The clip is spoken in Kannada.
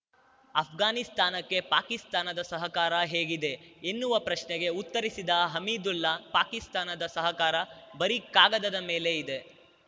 ಅಫ್ಘಾನಿಸ್ತಾನಕ್ಕೆ ಪಾಕಿಸ್ತಾನದ ಸಹಕಾರ ಹೇಗಿದೆ ಎನ್ನುವ ಪ್ರಶ್ನೆಗೆ ಉತ್ತರಿಸಿದ ಹಮೀದುಲ್ಲಾ ಪಾಕಿಸ್ತಾನದ ಸಹಕಾರ ಬರೀ ಕಾಗದದ ಮೇಲೆ ಇದೆ